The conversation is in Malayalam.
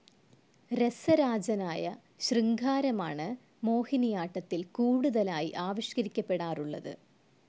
രസരാജനായ ശൃംഗാരമാണു മോഹിനിയാട്ടത്തിൽ കൂടുതലായി ആവിഷ്കരിക്കപ്പെടാറുള്ളത്.